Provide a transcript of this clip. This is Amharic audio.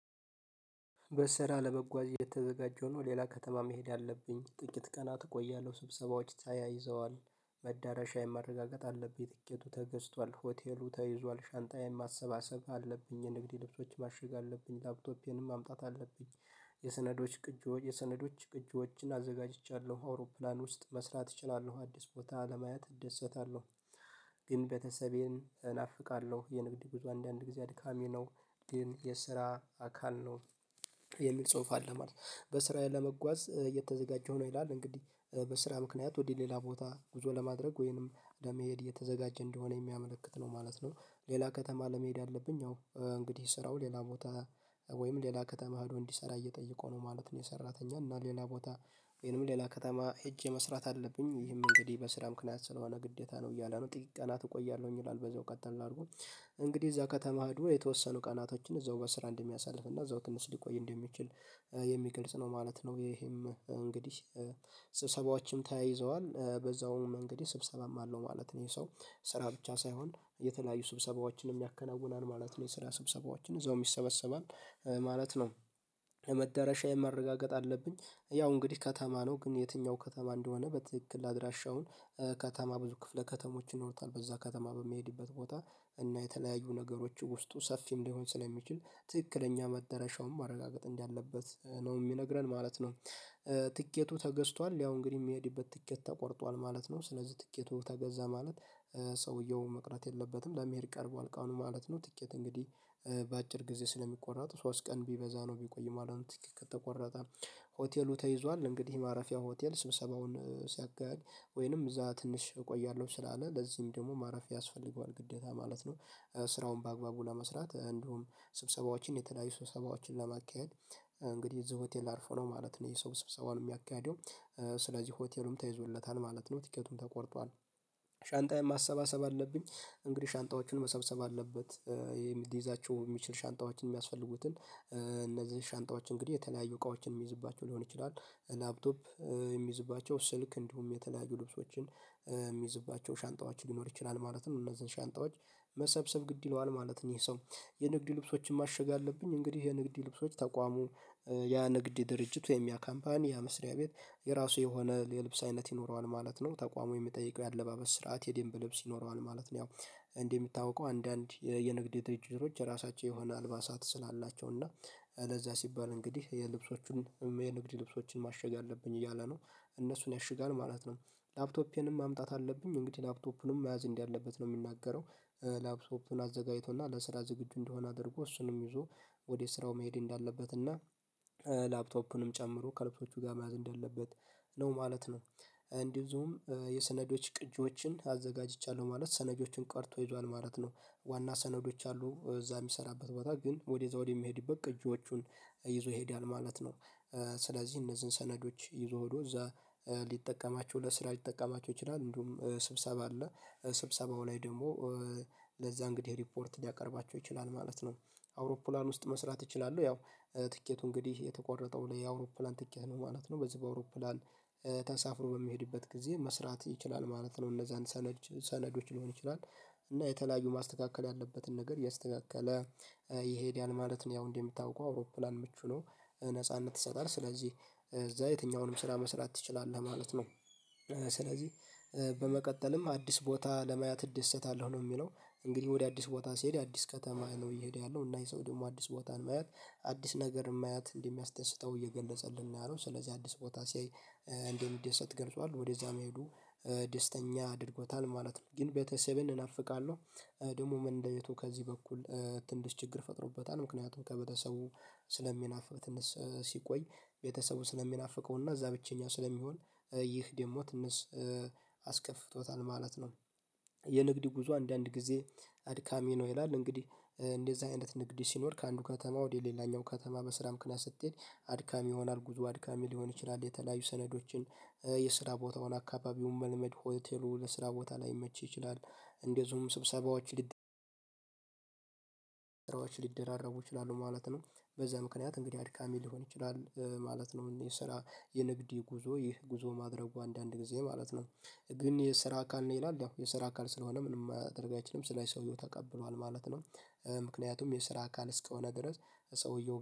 በስራ ለመጓዝ የተዘጋጀው ነው ሌላ ከተማ መሄድ አለብኝ ጥቂት ቀናት እቆያለሁ ስብሰባዎች ተያይዘዋል መዳረሻ የማረጋገጥ አለብኝ ትከቱ ተገዝቷል ሆቴሉ ተይዟል ሻንጣዬን ማሰባሰብ አለብኝ የንግድ ልብሶች ማሸግ አለብኝ ላፕቶፔንም ማምጣት አለብኝ። የስነዶች ቅጂዎች የሰነዶች ቅጂዎችን አዘጋጅቻለሁ አውሮፕላን ውስጥ መስራት እችላለሁ አዲስ ቦታ ለማየት እደሰታለሁ ግን በተሰቤን እናፍቃለሁ የንግድ ብዙ አንዳንድ ጊዜ አድካሚ ነው። ግን የስራ አካል ነው የሚል ጽሁፍ አለ ማለት ነው። በስራዬ ለመጓዝ እየተዘጋጀሁ ሆኖ ይላል እንግዲህ በስራ ምክንያት ወዴ ሌላ ቦታ ጉዞ ለማድረግ ወይንም እንደሚሄድ የተዘጋጀ እንደሆነ የሚያመለክት ነው ማለት ነው። ሌላ ከተማ ለመሄድ አለብኝ አዎ እንግዲህ ስራው ሌላ ቦታ ወይም ሌላ ከተማ ሄዶ እንዲሰራ እየጠየቀው ነው ማለት ነው። የሰራተኛ እና ሌላ ቦታ ወይንም ሌላ ከተማ ሄጄ መስራት አለብኝ። ይህም እንግዲህ በስራ ምክንያት ስለሆነ ግዴታ ነው እያለ ነው ጥቂት ቀናት እቆያለሁኝ ይላል በዛው ቀጥታ እንዳድርጉኝ እንግዲህ እዛ ከተማ ደግሞ የተወሰኑ ቀናቶችን እዛው በስራ እንደሚያሳልፍ እና እዛው ትንሽ ሊቆይ እንደሚችል የሚገልጽ ነው ማለት ነው። ይሄም እንግዲህ ስብሰባዎችን ተያይዘዋል በዛውም እንግዲ ስብሰባም አለው ማለት ነው ይሄ ሰው ስራ ብቻ ሳይሆን የተለያዩ ስብሰባዎችንም ያከናውናል ማለት ነው የስራ ስብሰባዎችን እዛውም ይሰበሰባል ማለት ነው። መዳረሻየን ማረጋገጥ አለብኝ ያው እንግዲህ ከተማ ነው ግን የትኛው ከተማ እንደሆነ በትክክል አድራሻውን ከተማ ብዙ ክፍለ ከተሞች ይኖሩታል በዛ ከተማ በመሄድበት ቦታ እና የተለያዩ ነገሮች ውስጡ ሰፊም ሊሆን ስለሚችል ትክክለኛ መደረሻውን ማረጋገጥ እንዳለበት ነው የሚነግረን ማለት ነው። ትኬቱ ተገዝቷል ያው እንግዲህ የሚሄድበት ትኬት ተቆርጧል ማለት ነው ስለዚህ ትኬቱ ተገዛ ማለት። ሰውየው መቅረት የለበትም ለመሄድ ቀርቧል ቀኑ ማለት ነው። ጥቂት እንግዲህ በአጭር ጊዜ ስለሚቆረጥ ሶስት ቢበዛ ነው ቢቆይ ማለት ከተቆረጠ። ሆቴሉ ተይዟል እንግዲህ ማረፊያ ሆቴል ስብሰባውን ሲያካሄድ ወይንም እዛ ትንሽ እቆያለሁ ስላለ ለዚህም ደግሞ ማረፊያ ያስፈልገዋል ግዴታ ማለት ነው። ስራውን በአግባቡ ለመስራት እንዲሁም ስብሰባዎችን የተለያዩ ሰብሰባዎችን ለማካሄድ እንግዲህ እዚህ ሆቴል አርፎ ነው ማለት ነው የሰው ስብሰባዉን የሚያካሂደው ስለዚህ ሆቴሉም ተይዞለታል ማለት ነው። ትኬቱም ተቆርጧል ሻንጣዬን ማሰባሰብ አለብኝ። እንግዲህ ሻንጣዎችን መሰብሰብ አለበት የሚይዛቸው የሚችል ሻንጣዎችን የሚያስፈልጉትን እነዚህ ሻንጣዎች እንግዲህ የተለያዩ እቃዎችን የሚይዝባቸው ሊሆን ይችላል ላፕቶፕ የሚይዝባቸው ስልክ እንዲሁም የተለያዩ ልብሶችን የሚይዝባቸው ሻንጣዎች ሊኖር ይችላል ማለት ነው እነዚህን ሻንጣዎች መሰብሰብ ግድ ይለዋል ማለት ነው። ይሄ ሰው የንግድ ልብሶችን ማሸጊያ አለብኝ እንግዲህ የንግድ ልብሶች ተቋሙ ያ ንግድ ድርጅት ወይም ያ ካምፓኒ ያ መስሪያ ቤት የራሱ የሆነ የልብስ አይነት ይኖረዋል ማለት ነው ተቋሙ የሚጠይቀው የአለባበስ ስርዓት የደምብ ልብስ ይኖረዋል ማለት ነው። ያው እንዲህ የምታውቀው አንዳንድ የንግድ ድርጅቶች የራሳቸው የሆነ አልባሳት ስላላቸው እና ለዛ ሲባል እንግዲህ የልብሶቹን የንግድ ልብሶችን ማሸጊያ አለብኝ እያለ ነው እነሱን ያሽጋል ማለት ነው። ላፕቶፔንም ማምጣት አለብኝ እንግዲህ ላፕቶፑንም መያዝ እንዳለበት ነው የምናገረው ላፕቶፑን አዘጋጅቶና ለስራ ዝግጁ እንደሆነ አድርጎ እሱንም ይዞ ወደ ስራው መሄድ እንዳለበት እና ላፕቶፑንም ጨምሮ ከልብሶቹ ጋር መያዝ እንደለበት ነው ማለት ነው። እንዲዚሁም የሰነዶች ቅጂዎችን አዘጋጅቻለሁ ማለት ሰነጆችን ቀድቶ ይዟል ማለት ነው ዋና ሰነዶች አሉ እዛ የሚሰራበት ቦታ ግን ወደዛ ወደሚሄድበት ቅጂዎቹን ይዞ ይሄዳል ማለት ነው። ስለዚህ እነዚህን ሰነዶች ይዞ ሆዶ እዛ ሊጠቀማቸው ለስራ ሊጠቀማቸው ይችላል እንደውም ስብሰባ አለ ስብሰባው ላይ ደግሞ ለዛ እንግዲህ ሪፖርት ሊያቀርባቸው ይችላል ማለት ነው። አውሮፕላን መስራት እችላለሁ ያው ትኬቱ እንግዲህ የተቆረጠው ለየአውሮፕላን ትኬት ነው ማለት ነው በዚህ በአውሮፕላን ተሳፍሮ በሚሄድበት ጊዜ መስራት ይችላል ማለት ነው እነዛን ሰለዶች ሊሆን ይችላል እና የተለያዩ ማስተካከል ያለበትን ነገር ያስተካከለ ይሄዳል ማለት ነው። ያው እንዴ የምታውቀው አውሮፕላን ምቹ ነው ነጻነት ይሰጣል ስለዚህ እዛ የትኛውንም ስራ መስራት ትችላለህ ማለት ነው። ስለዚህ በመቀጠልም አዲስ ቦታ ለማያት እደሰታለሁ ነው የሚለው እንግዲህ ወደ አዲስ ቦታ ሲሄድ አዲስ ከተማ ነው እየሄደ ያለው እና የሰው ደግሞ አዲስ ቦታን ማየት አዲስ ነገር ማየት እንደሚያስደስተው እየገለጸልን ነው ያለው ስለዚህ አዲስ ቦታ ሲያይ እንደዚህ እንደዚህ ገልጿል ወደዛ መሄዱ ደስተኛ አድርጎታል ማለት ነው። ግን ቤተሰቤን እናፍቃለሁ ደግሞ ምን እንደቤቱ ከዚህ በኩል ትንሽ ችግር ፈጥሮበታል ምክንያቱም ከቤተሰቡ ስለሚናፍቅ ትንሽ ሲቆይ ቤተሰቡ ስለሚናፍቀው እና እዛ ብቸኛው ስለሚሆን ይህ ደግሞ ትንሽ አስከፍቶታል ማለት ነው። የንግድ ጉዞ አንዳንድ ጊዜ አድካሚ ነው ይላል። እንግዲህ እንደዚህ አይነት ንግድ ሲኖር ከአንዱ ከተማ ወደ ሌላኛው ከተማ በስራ ምክንያት ስትሄድ አድካሚ ይሆናል ጉዞ አድካሚ ሊሆን ይችላል። የተለያዩ ሰነዶችን የስራ ቦታውን አካባቢውን መልመድ ሆቴሉ ለስራ ቦታ ላይ መቼ ይችላል? እንደዚሁም ስብሰባዎች ሊደራረቡ ይችላሉ ማለት ነው። በዛ ምክንያት እንግዲህ አድካሚ ሊሆን ይችላል ማለት ነው። የሰራ የንግድ ጉዞ ይህ ጉዞ ማድረጉ አንዳንድ ጊዜ ማለት ነው። ግን የስራ አካል ነው ይላል ያው የስራ አካል ስለሆነ ምንም ማድረግ አይችልም ስለዚህ ሰውየው ተቀብሏል ማለት ነው። ምክንያቱም የስራ አካል እስከሆነ ድረስ ሰውየው